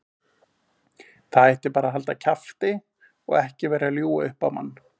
Það ætti bara að halda kjafti og vera ekki að ljúga upp á mann.